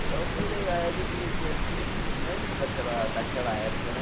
Então foi legal eles me vê assim, lembra daquela daquela época, né?